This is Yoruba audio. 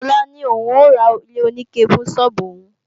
Sola ní òun ó ra ilé-oníke fún sọ́ọ́bù òun